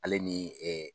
Ale ni